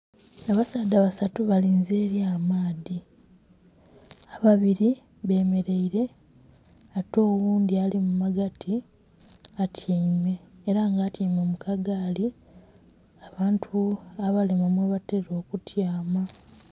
Abasaadha basatu balinze eri amaadhi, ababiri bemeraire ate oghundhi alimumagati atyaime era nga atyaime mukagali abantu abalema mwebatera okutyama.